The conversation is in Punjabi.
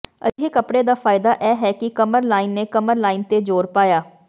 ਅਜਿਹੇ ਕੱਪੜੇ ਦਾ ਫਾਇਦਾ ਇਹ ਹੈ ਕਿ ਕਮਰਲਾਈਨ ਨੇ ਕਮਰ ਲਾਈਨ ਤੇ ਜ਼ੋਰ ਪਾਇਆ